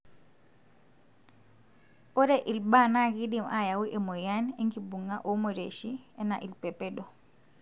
ore ilbaa na kidim ayau emoyian engibunga olmorioshi, ena ilpepedo.